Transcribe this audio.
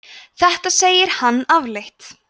þetta segir hann afleitt